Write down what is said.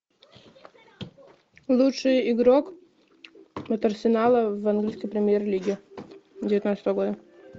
лучший игрок от арсенала в английской премьер лиге девятнадцатого года